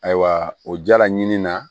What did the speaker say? Ayiwa o jala ɲini na